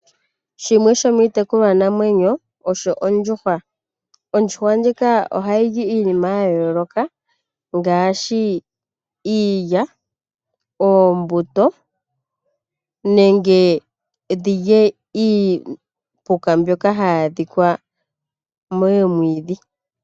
Shimwe shomiitekulwa namwenyo osho ondjuhwa. Ondjuhwa ndjika ohayili iinima ya yooloka ngaaashi iilya ,oombuto nenge dhilye iipuka mbyoka hayi adhika momwiidhi.